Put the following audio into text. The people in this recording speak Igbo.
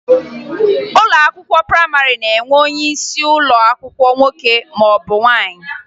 Ụlọ akwụkwọ prayịmarị na-enwe onyeisi ụlọ akwụkwọ nwoke maọbụ nwaanyị